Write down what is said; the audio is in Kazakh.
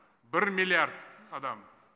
бір миллиард адам